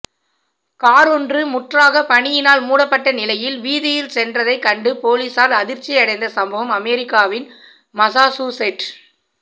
காரொன்று முற்றாகப் பனியினால் மூடப்பட்ட நிலையில் வீதியில் சென்றதைக் கண்டு பொலிஸார் அதிர்ச்சியடைந்த சம்பவம் அமெரிக்காவின் மசாசூசெட்